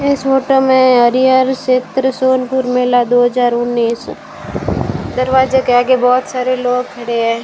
इस फोटो में हरिहर क्षेत्र सोनपुर मेला दो हज़ार उन्नीस दरवाजा के आगे बहोत सारे लोग खड़े हैं।